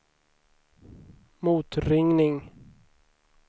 motringning